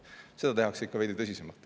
Seda tehakse ikka veidi tõsisemalt.